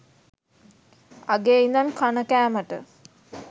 අගේ ඉදන් කණ කෑමට